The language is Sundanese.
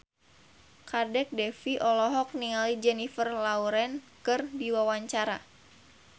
Kadek Devi olohok ningali Jennifer Lawrence keur diwawancara